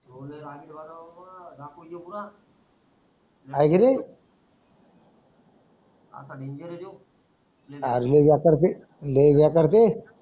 आरे लय या करते लय ह्या करते.